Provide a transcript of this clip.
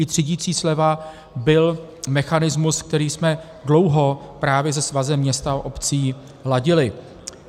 I třídicí sleva byl mechanismus, který jsme dlouho právě se Svazem měst a obcí ladili.